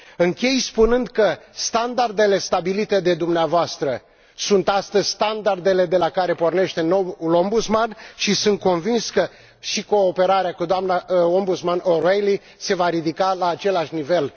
Închei spunând că standardele stabilite de dumneavoastră sunt astăzi standardele de la care pornește noul Ombudsman și sunt convins că și cooperarea cu doamna Ombudsman O'Reilly se va ridica la același nivel.